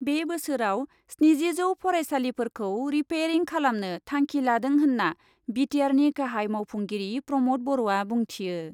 बे बोसोराव स्निजिजौ फरायसालिफोरखौ रिपेरिं खालामनो थांखि लादों होन्ना बि टि आरनि गाहाइ मावफुंगिरि प्रमद बर'आ बुंथियो ।